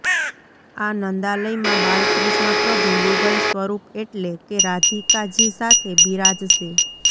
આ નંદાલયમાં બાલકૃષ્ણ પ્રભુ યુગલ સ્વરુપ એટલે કે રાધીકાજી સાથે બીરાજશે